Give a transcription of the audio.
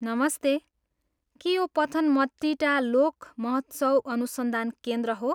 नमस्ते, के यो पथनमतिट्टा लोक महोत्सव अनुसन्धान केन्द्र हो?